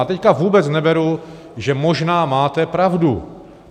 A teď vůbec neberu, že možná máte pravdu.